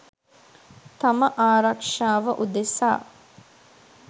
තම ආරක්ෂාව උදෙසා.